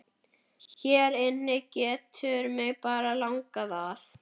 Hér inni getur mig bara langað að.